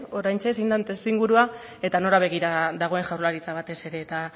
oraintxe zein den testuingurua eta nora begira dagoen jaurlaritza batez ere eta